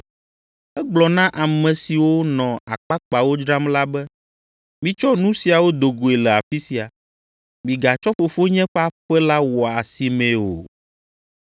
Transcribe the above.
Egblɔ na ame siwo nɔ akpakpawo dzram la be, “Mitsɔ nu siawo do goe le afi sia! Migatsɔ Fofonye ƒe aƒe la wɔ asimee o!”